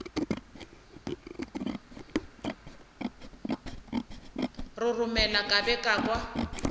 roromela ka be ka kwa